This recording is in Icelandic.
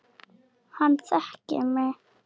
Hann þekkir mig.